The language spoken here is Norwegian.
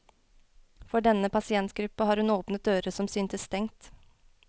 For denne pasientgruppe har hun åpnet dører som syntes stengt.